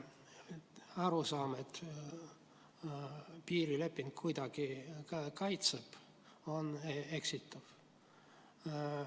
Arusaam, et piirileping kuidagi kaitseb, on eksitav.